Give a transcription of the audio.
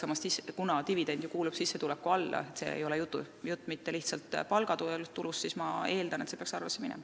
Samas, kuna dividend ju kuulub sissetuleku hulka, jutt ei ole mitte lihtsalt palgatulust, siis ma eeldan, et see peaks arvesse minema.